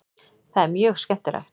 Það er mjög skemmtilegt.